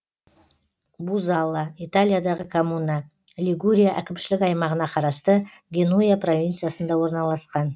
бузалла италиядағы коммуна лигурия әкімшілік аймағына қарасты генуя провинциясында орналасқан